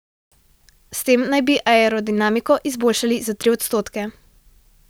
S tem naj bi aerodinamiko izboljšali za tri odstoke.